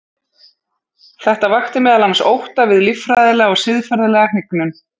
þetta vakti meðal annars ótta við líffræðilega og siðferðilega hnignun